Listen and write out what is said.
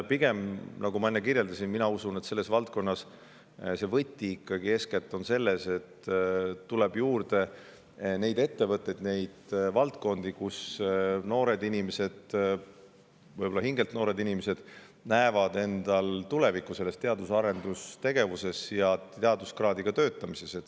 Pigem ma usun, nagu ma enne kirjeldasin, et selles valdkonnas on võti eeskätt selles, et tuleb juurde neid ettevõtteid ja valdkondi, kus noored inimesed – võib-olla ka hingelt noored inimesed – näevad endal tulevikku teadus- ja arendustegevuses, teaduskraadiga töötamises.